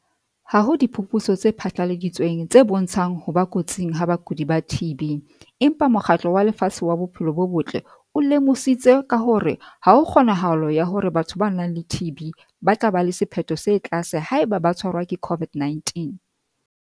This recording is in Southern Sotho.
"Ha ho diphuputso tse phatlaladitsweng tse bontshang ho ba kotsing ha bakudi ba TB empa Mokgatlo wa Lefatshe wa Bophelo bo Botle o lemositse ka hore ha ho kgonahalo ya hore batho ba nang le TB ba tla ba le sephetho se tlase haeba ba ka tshwarwa ke COVID-19."